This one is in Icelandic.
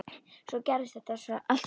Svo gerðist þetta svo hratt.